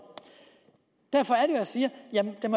derfor er jeg siger